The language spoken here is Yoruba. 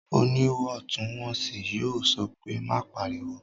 Oníwọ̀ntúnwọ̀nsì yóò sọ pé "má pariwo!"